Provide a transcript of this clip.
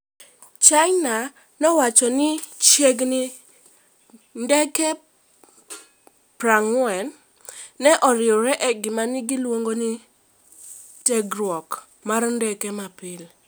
China nowacho ni chiegni ni ndeke 40 ne oriwore e gima ne giluongo ni tiegruok mar ndege mapile. "